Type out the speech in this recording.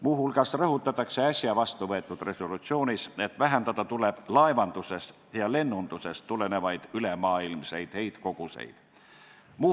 Muu hulgas rõhutatakse äsja vastuvõetud resolutsioonis, et vähendada tuleb laevandusest ja lennundusest tulenevaid ülemaailmseid heitkoguseid.